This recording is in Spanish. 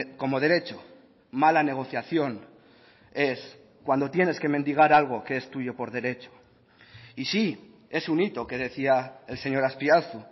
como derecho mala negociación es cuando tienes que mendigar algo que es tuyo por derecho y sí es un hito que decía el señor azpiazu